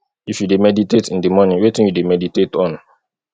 if you dey meditate in di morning wetin you dey meditate on